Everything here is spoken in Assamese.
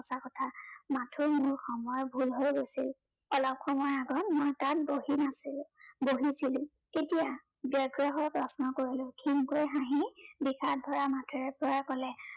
সঁচা কথা। মাথো মোৰ সময় ভুল হৈ গৈছিল। অলপ সময় আগত মই তাত বহি আছিলো। বহিছিলো, কেতিয়া, ব্য়গ্ৰ হৈ প্ৰশ্ন কৰিলো। ক্ষীণকৈ হাঁহি বিষাদ ভৰা মাতেৰে জয়ে কলে